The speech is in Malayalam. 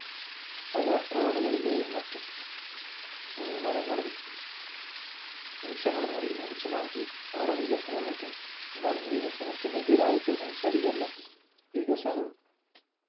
പല road കളിലെയും മറ്റും മരങ്ങളും വൃക്ഷങ്ങളും മുറി മുറിച്ചുമാറ്റി അവിടെ വികസനോം മറ്റും ഉണ്ടാകുന്നു. വികസനത്തിന് എതിരായിട്ട് സംസാരിക്കുവല്ല വികസനം